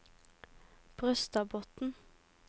Brøstadbotn